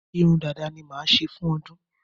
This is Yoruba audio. Irun dada ni máa ṣe fún ọdún.